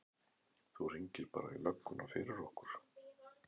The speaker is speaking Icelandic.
Þú hringir bara í lögguna fyrir okkur!